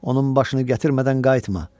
Onun başını gətirmədən qayıtma!